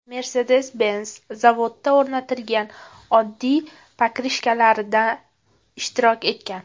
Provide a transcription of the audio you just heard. Mercedes-Benz zavodda o‘rnatilgan oddiy pokrishkalarida ishtirok etgan.